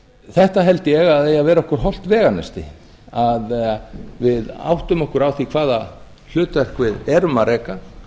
þetta held ég að eigi að vera okkur hollt veganesti að við áttum okkur á því hvaða hlutverk við erum að reka